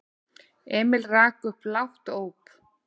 Emil rak upp lágt óp.